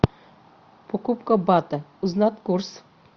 покупка бата узнать курс